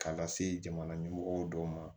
K'a lase jamana ɲɛmɔgɔw dɔw ma